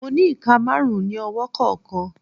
Mo ni ika marun ni ọwọ kọọkan